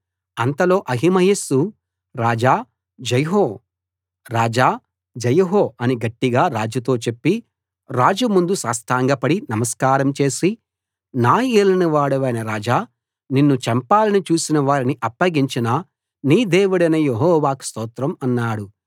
అంతలో అహిమయస్సు రాజా జయహో అని గట్టిగా రాజుతో చెప్పి రాజు ముందు సాష్టాంగపడి నమస్కారం చేసి నా యేలిన వాడవైన రాజా నిన్ను చంపాలని చూసిన వారిని అప్పగించిన నీ దేవుడైన యెహోవాకు స్తోత్రం అన్నాడు